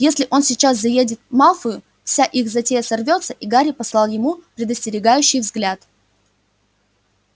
если он сейчас заедет малфою вся их затея сорвётся и гарри послал ему предостерегающий взгляд